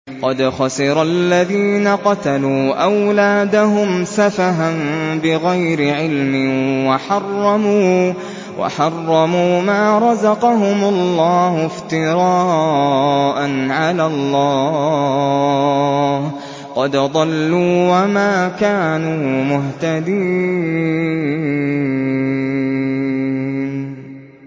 قَدْ خَسِرَ الَّذِينَ قَتَلُوا أَوْلَادَهُمْ سَفَهًا بِغَيْرِ عِلْمٍ وَحَرَّمُوا مَا رَزَقَهُمُ اللَّهُ افْتِرَاءً عَلَى اللَّهِ ۚ قَدْ ضَلُّوا وَمَا كَانُوا مُهْتَدِينَ